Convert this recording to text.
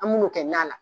An b'u kɛ na la